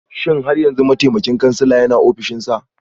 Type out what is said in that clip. Shin har yanzu mataimakin kansila yana ofishinsa?